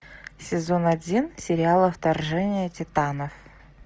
сезон один сериала вторжение титанов